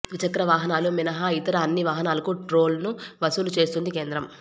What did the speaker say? ద్విచక్ర వాహనాలు మినహా ఇతర అన్ని వాహనాలకు టోల్ను వసూలు చేస్తోంది కేంద్రం